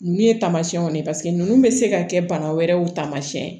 Ninnu ye tamasiyɛnw ye paseke ninnu bɛ se ka kɛ bana wɛrɛw taamasiyɛn